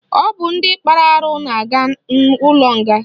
Ọ bụ ndị kpara arụ na-aga ụlọnga